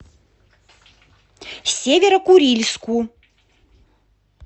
северо курильску